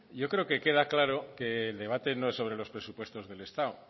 yo creo que queda claro que el debate no es sobre los presupuestos del estado